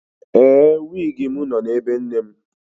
Ee, wịgị m nọ na ebe nne m.